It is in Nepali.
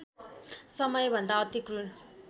समयभन्दा अति क्रूर